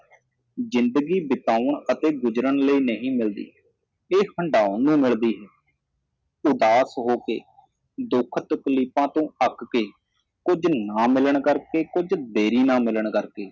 ਜਿੰਦਗੀ ਬਿਤਾਉਣ ਅਤੇ ਗੁਜਰਣ ਲਈ ਨਹੀ ਮਿਲਦੀ ਇਹ ਹੰਢਾਉਣ ਨੂੰ ਮਿਲਦੀ ਹੈ ਉਦਾਸ ਹੋ ਕੇ ਦੁੱਖ ਤਕਲੀਫਾਂ ਤੋ ਅੱਕ ਕੇ ਕੁੱਝ ਨਾ ਮਿਲਣ ਕਰਕੇ ਕੁੱਝ ਦੇਰੀ ਨਾਲ ਮਿਲਣ ਕਰਕੇ